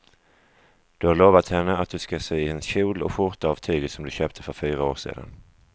Du har lovat henne att du ska sy en kjol och skjorta av tyget du köpte för fyra år sedan.